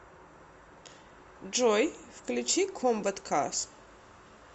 джой включи комбат карс